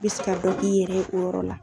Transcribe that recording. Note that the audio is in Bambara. I bɛ se ka dɔ k'i yɛrɛ ye o yɔrɔ la.